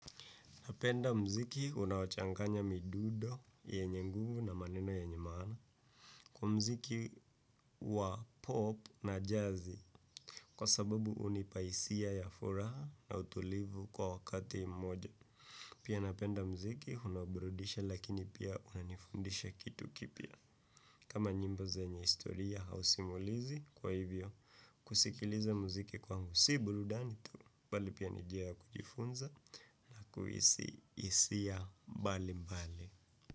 Napenda mziki unaochanganya midudo, yenye nguvu na maneno yenye maana kwa mziki wa pop na jazi kwa sababu hunipa hisia ya furaha na utulivu kwa wakati moja. Pia napenda mziki unaoburudisha lakini pia unanifundisha kitu kipya. Kama nyimbo zenye historia au simulizi kwa hivyo kusikiliza muziki kwangu si burudani tu bali pia ni njia ya kujifunza kuhisi hisia mbali mbali.